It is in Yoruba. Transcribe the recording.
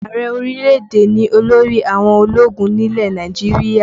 Ààrẹ orílẹ̀-èdè ni olórí àwọn ológun nílẹ̀ Nàìjíríà